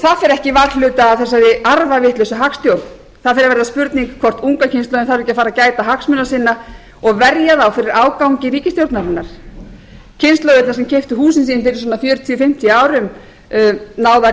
ekki varhluta af þessari arfavitlausu hagstjórn það fer að verða spurning hvort unga kynslóðin þarf ekki að fara að gæta hagsmuna sinna og verja þá fyrir ágangi ríkisstjórnarinnar kynslóðirnar sem keyptu húsin sín fyrir svona fjörutíu fimmtíu árum náðu að